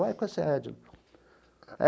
Uai, conhece a Edna?